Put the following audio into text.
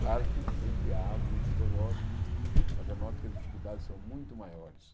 Claro que sempre há alguns vitoriosos, mas eu noto que as dificuldades são muito maiores.